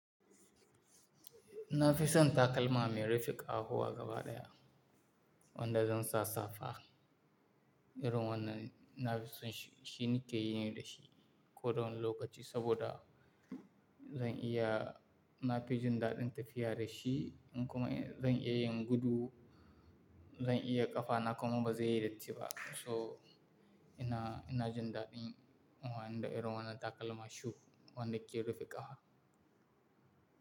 Na fi son takalma mai rufe ƙafafuwa gaba ɗaya wanda zan sa safa. Irin wannan na fi son shi, shi ni ke yin yi da shi kowane lokaci saboda zan iya, na fi jin daɗin tafiya da shi in kuma zan iya yin gudu, zan iya ƙafa na kuma ba zai yi datti ba. Toh ina, ina jin daɗin amfani da irin wannan takalma shoe wanda ke rufe ƙafa.